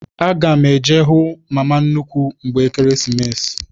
Aga m eje hụ mama nnukwu mgbe Ekeresimesi.